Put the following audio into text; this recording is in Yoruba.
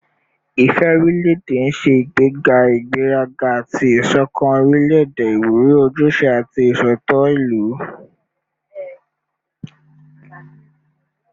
Ifẹ orilẹ-ede n ṣe igbega igberaga ati isokan orilẹ-ede, iwuri ojuse ati iṣootọ ilu